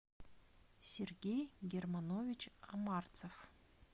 сергей германович амарцев